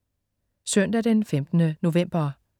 Søndag den 15. november